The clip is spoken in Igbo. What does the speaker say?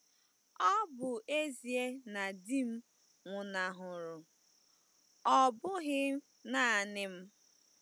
Ọ bụ ezie na di m nwụnahụrụ, ọ bụghị nanị m.